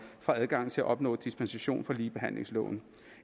fra adgang til at opnå dispensation fra ligebehandlingsloven